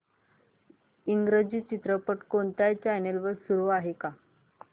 इंग्रजी चित्रपट कोणत्या चॅनल वर चालू आहे का